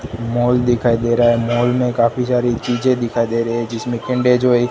mall दिखाई दे रहा है मॉल में काफी सारी चीजें दिखाई दे रहे हैं जिसमें किंडर जॉय --